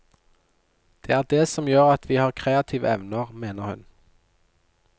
Det er det som gjør at vi har kreative evner, mener hun.